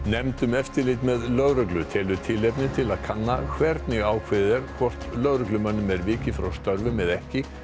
nefnd um eftirlit með lögreglu telur tilefni til að kanna hvernig ákveðið er hvort lögreglumönnum er vikið frá störfum eða ekki